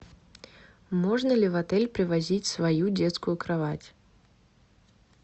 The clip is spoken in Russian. можно ли в отель привозить свою детскую кровать